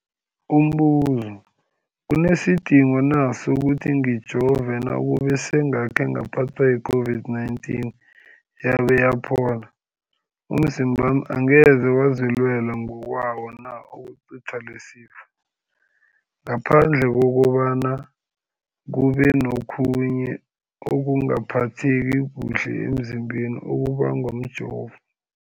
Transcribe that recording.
Umbuzo, kunesidingo na sokuthi ngijove nakube sengakhe ngaphathwa yi-COVID-19 yabe yaphola? Umzimbami angeze wazilwela ngokwawo na ukucitha lesisifo, ngaphandle kobana kube nokhunye ukungaphatheki kuhle emzimbeni okubangwa mjovo?